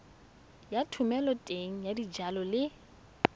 ya thomeloteng ya dijalo le